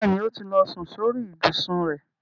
Bẹ́ẹ̀ni, ó ti lọ sun sórí ìbùsùn rẹ̀.